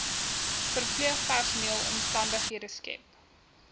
verpleegpersoneel omstandighede skep